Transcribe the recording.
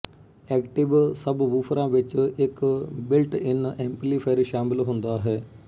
active ਸਬਵੂਫਰਾਂ ਵਿੱਚ ਇੱਕ ਬਿਲਟਇਨ ਐਂਪਲੀਫਾਇਰ ਸ਼ਾਮਲ ਹੁੰਦਾ ਹੈ